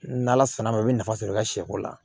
N' ala sera n ma i bɛ nafa sɔrɔ i ka sɛko la